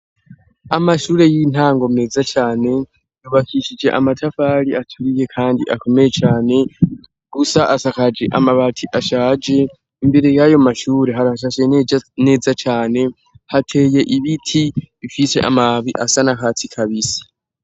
Amashure y'intango meza cane yubakishije amatafarii aturiye kandi akomeye cane . Gusa asakaje amabati ashaje. Imbere y'ayo mashuri, harashashe neza cane, hateye ibiti bifise amababi asa n'akatsi kabisi.